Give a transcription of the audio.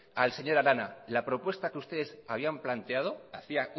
al señor arana que la propuesta que ustedes habían planteado hace